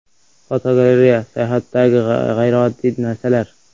Fotogalereya: Sayohatdagi g‘ayrioddiy narsalar.